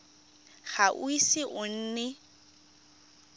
ga o ise o nne